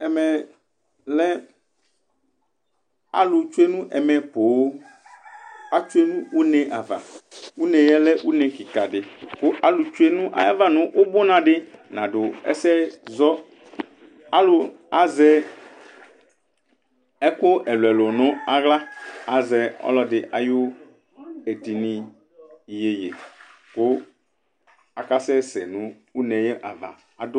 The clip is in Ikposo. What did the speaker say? Ɛmɛlɛ alʋ tsue nɛmɛ pooooŋAtʋ nʋ une' avaune' yɛlɛ une' kikaɖi kʋ alʋ tsue' ayava nʋ ʋbunaɖi naɖʋ ɛsɛzɔ, Aalʋ azɛ ɛkʋ ɛlʋɛlʋ n'aɣlaAzɛ ɔlɔɖi ayʋ etini Iyeye kʋ akasɛsɛ nʋ une' ava aɖʋ